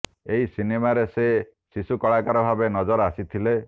ଏହି ସିନେମାରେ ସେ ଶିଶୁ କଳାକାର ଭାବେ ନଜର ଆସିଥିଲେ